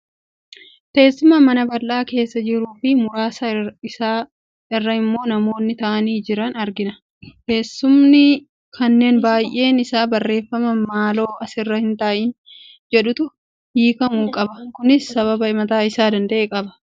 Teessuma mana bal'aa keessa jiruu fi muraasa isaa irra immoo namoonni taa'anii jiran argina. Teessumni kunneen baay'een isaa barreeffama "Maaloo asirra hin taa'iin" jedhutti hiikamu qaba. Kunis sababa mataa isaa danda'e qaba.